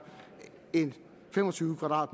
en fem og tyve